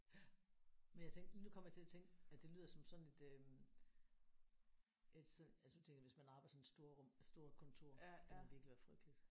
Ja men jeg tænkte nu kom jeg til at tænke at det lyder som sådan et øh et sådan altså nu tænker jeg hvis man arbejder i sådan et storrum stort kontor det ville virkelig være frygteligt